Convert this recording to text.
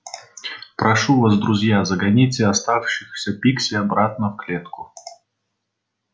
прошу вас друзья загоните оставшихся пикси обратно в клетку